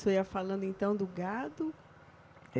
O senhor ia falando então do gado?